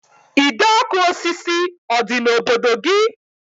Ide ọkụ osisi ọ dị n'obodo gị?